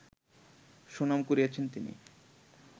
সুনাম কুড়িয়েছেন তিনি